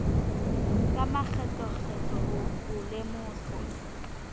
ka makgetlokgetlo ho o lemosa